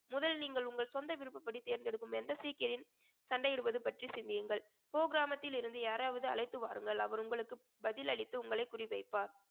முதல் நீங்கள் உங்கள் சொந்த விருப்பப்படி தேர்ந்தெடுக்கும் எந்த சீக்கியரின் சண்டையிடுவது பற்றி சிந்தியுங்கள் கிராமத்தில் இருந்து யாராவது அழைத்து வாருங்கள் அவர் உங்களுக்கு பதில் அளித்து உங்களை குறி வைப்பார்